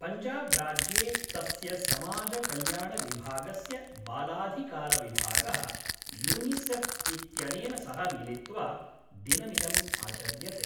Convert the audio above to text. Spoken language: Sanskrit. पञ्जाबराज्ये तस्य समाजकल्याणविभागस्य बालाधिकारविभागः, यूनिसेफ़् इत्यनेन सह मिलित्वा दिनमिदम् आचर्यते।